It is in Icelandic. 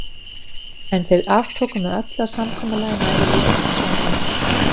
En þeir aftóku með öllu að samkomulagið næði líka til sonar hans.